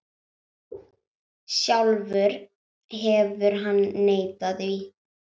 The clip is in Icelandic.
Sjálfur hefur hann neitað því.